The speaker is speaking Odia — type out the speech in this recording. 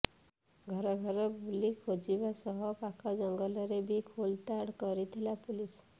ଘର ଘର ବୁଲି ଖୋଜିବା ସହ ପାଖ ଜଙ୍ଗଲରେ ବି ଖୋଳତାଡ କରିଥିଲା ପୋଲିସ